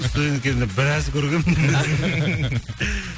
студент кезімде біраз көргенмін